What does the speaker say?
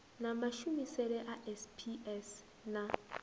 na mashumisele a sps na